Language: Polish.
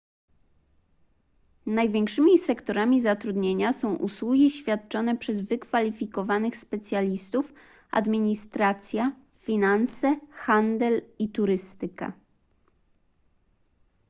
największymi sektorami zatrudnienia są usługi świadczone przez wykwalifikowanych specjalistów administracja finanse handel i turystyka